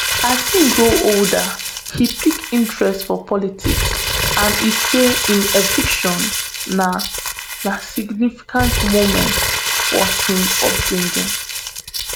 as im grow older im pick interest for politics and e say im eviction na na significant moment for im upbringing